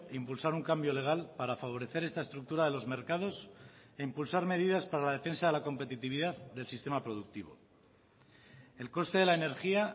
impulsar un cambio legal para favorecer esta estructura de los mercados e impulsar medidas para la defensa de la competitividad del sistema productivo el coste de la energía